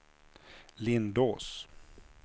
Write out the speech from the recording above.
Lindås